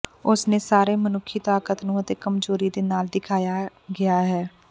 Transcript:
ਉਸ ਨੇ ਸਾਰੇ ਮਨੁੱਖੀ ਤਾਕਤ ਨੂੰ ਅਤੇ ਕਮਜ਼ੋਰੀ ਦੇ ਨਾਲ ਦਿਖਾਇਆ ਗਿਆ ਹੈ